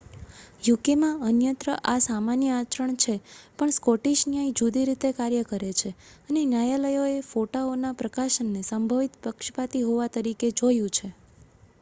યુકેમાં અન્યત્ર આ સામાન્ય આચરણ છે પણ સ્કૉટિશ ન્યાય જુદી રીતે કાર્ય કરે છે અને ન્યાયાલયોએ ફોટાઓના પ્રકાશનને સંભવિત પક્ષપાતી હોવા તરીકે જોયું છે